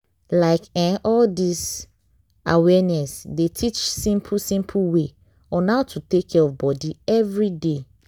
like eh all dis awareness dey teach simple simple way on how to take care of body everyday.